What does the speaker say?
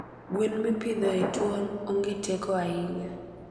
gwen mipidho e twon ongeteko ahinya